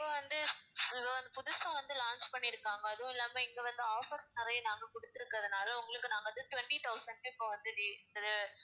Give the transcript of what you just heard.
இப்ப வந்து இத வந்து புதுசா வந்து launch பண்ணியிருக்காங்க அதுவும் இல்லாம இங்க வந்து offers நிறைய நாங்க குடுத்திருக்கிறதுனால உங்களுக்கு நாங்க வந்து twenty thousand க்கு இப்ப வந்து இது